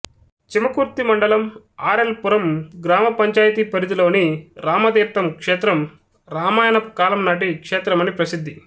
చీమకుర్తి మండలం R L Puram గ్రామ పంచాయతీ పరిధిలోని రామతీర్ధం క్షేత్రం రామాయణపు కాలం నాటి క్షేత్రమని ప్రసిద్ధి